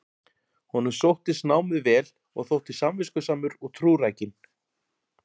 Honum sóttist námið vel og þótti samviskusamur og trúrækinn.